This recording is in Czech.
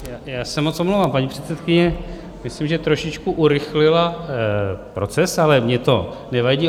Já se moc omlouvám, paní předsedkyně myslím, že trošičku urychlila proces, ale mně to nevadí.